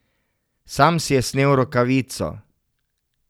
Sam si je snel rokavico.